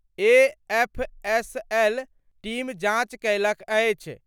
FSL team जांच कयलक अछि।